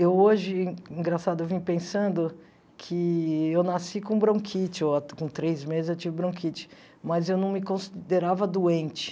Eu hoje, engraçado, eu vim pensando que eu nasci com bronquite, com três meses eu tive bronquite, mas eu não me considerava doente.